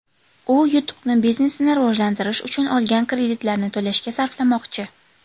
U yutuqni biznesini rivojlantirish uchun olgan kreditlarni to‘lashga sarflamoqchi.